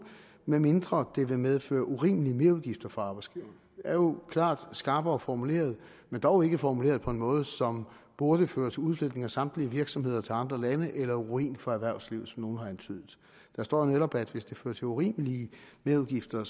medmindre det vil medføre urimelige merudgifter for arbejdsgiveren er jo klart skarpere formuleret men dog ikke formuleret på en måde som burde føre til udflytning af samtlige virksomheder til andre lande eller ruin for erhvervslivet nogle har antydet der står netop at hvis det fører til urimelige merudgifter